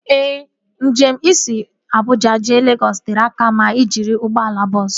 Ee, njem si Abuja jee Legọs tere aka ma ị jiri ụgbọala bọọsu